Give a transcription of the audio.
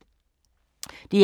DR K